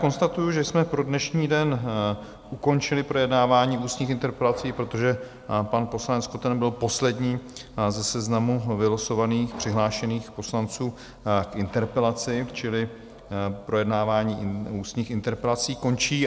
Konstatuji, že jsme pro dnešní den ukončili projednávání ústních interpelací, protože pan poslanec Koten byl poslední ze seznamu vylosovaných přihlášených poslanců k interpelaci, čili projednávání ústních interpelací končí.